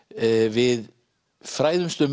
við fræðumst um